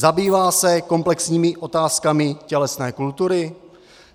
Zabývá se komplexními otázkami tělesné kultury?